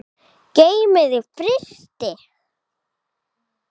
Geymið í frysti.